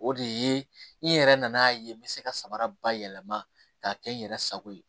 O de ye n yɛrɛ nana ye n bɛ se ka samara bayɛlɛma k'a kɛ n yɛrɛ sago ye